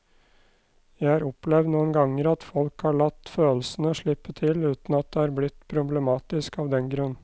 Jeg har opplevd noen ganger at folk har latt følelsene slippe til uten at det er blitt problematisk av den grunn.